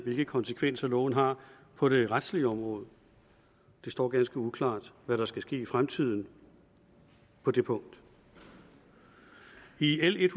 hvilke konsekvenser loven har på det retslige område det står ganske uklart hvad der skal ske i fremtiden på det punkt i l en